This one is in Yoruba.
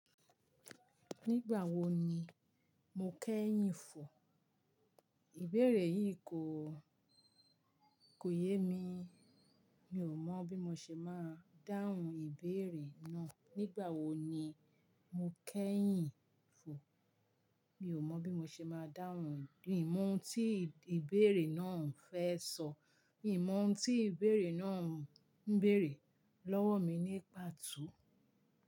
Nígbà wo ni mo kẹ́yìn fò? Ìbéèrè yìí kò, kò yé mi. Mi ò mọ̀ bí mo ṣe máa dáhùn Ìbéèrè náà. Nígbà wo ni mo kẹ́yìn fò? Mi ò mọ́ bí mo ṣe máa dáhùn ìmọ̀ tí ìbéèrè náà ń fẹ́ sọ. Ìmọ̀ tí ìbéèrè náà ń bèrè lọ́wọ́ mi ní pàtó.